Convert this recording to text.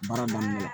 Baara daminɛ